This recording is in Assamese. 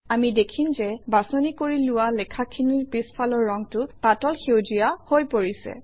আমি দেখিম যে বাছনি কৰি লোৱা লেখাখিনিৰ পিছফালৰ ৰংটো পাতল সেউজীয়া হৈ পৰিছে